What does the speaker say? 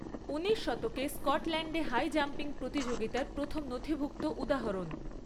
উনিশ শতকে স্কটল্যান্ডে হাই জাম্পিং প্রতিযোগিতার প্রথম নথিভুক্ত উদাহরণ।